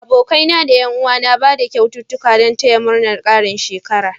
Abokanai da Yan uwa na Bada kyaututtuƙa Dan taya murnar Karin shekara